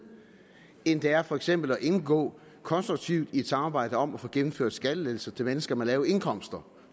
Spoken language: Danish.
end det er for eksempel at indgå konstruktivt i et samarbejde om at få gennemført skattelettelser til mennesker med lave indkomster